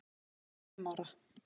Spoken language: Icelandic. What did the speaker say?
Hún var bara fimm ára.